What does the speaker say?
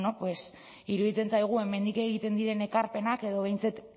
iruditzen zaigu hemendik egiten diren ekarpenak edo behintzat